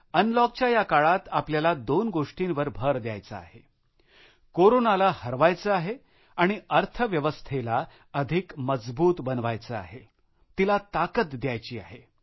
अनलॉकच्या या काळात आपल्याला दोन गोष्टींवर भर द्यायचा आहे कोरोनाला हरवायचे आहे आणि अर्थव्यवस्थेला अधिक मजबूत बनवायचे आहे तिला ताकद द्यायची आहे